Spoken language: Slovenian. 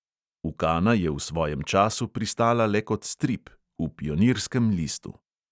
Ukana je v svojem času pristala le kot strip – v pionirskem listu.